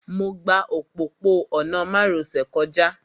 Mo gba òpópó-ọ̀nà márosẹ̀ kọjá